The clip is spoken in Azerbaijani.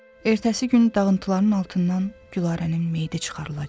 Ertəsi günü dağıntıların altından Gülarənin meyidi çıxarılacaq.